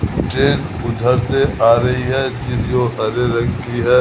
Train उधर से आ रही है जो हरे रंग की है।